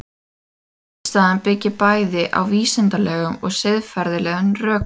Andstaðan byggir bæði á vísindalegum og siðfræðilegum rökum.